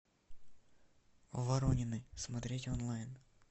воронины смотреть онлайн